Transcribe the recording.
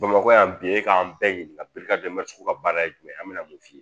Bamakɔ yan bi e k'an bɛɛ ɲininka ka baara ye jumɛn ye an bɛna mun f'i ye